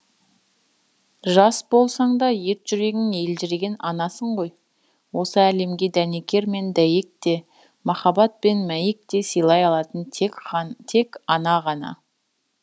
жас болсаң да ет жүрегің елжіреген анасың ғой осы әлемге дәнекер мен дәйек те махаббат пен мәйек те силай алатын тек ана ғана